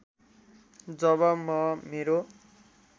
जब म मेरो